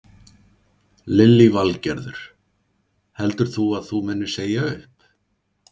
Lillý Valgerður: Heldur þú að þú munir segja upp?